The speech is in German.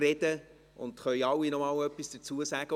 Es können noch einmal alle etwas dazu sagen.